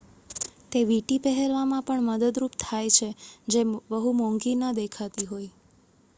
તે વીંટી પહેરવામાં પણ મદદરૂપ થાય છે જે બહુ મોંઘી ન દેખાતી હોઈ